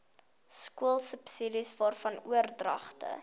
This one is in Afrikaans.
skoolsubsidies waarvan oordragte